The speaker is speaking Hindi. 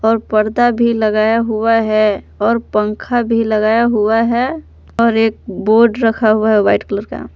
और पर्दा भी लगाया हुआ है और पंखा भी लगाया हुआ है और एक बोर्ड रखा हुआ है वाइट कलर का।